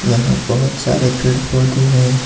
यहां बहोत सारे पेड़ पौधे हैं।